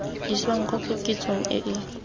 isang kwa koketsegong e e